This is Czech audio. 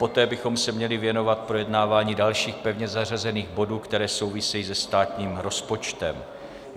Poté bychom se měli věnovat projednáváním dalších pevně zařazených bodů, které souvisejí se státním rozpočtem.